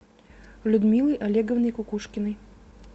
людмилой олеговной кукушкиной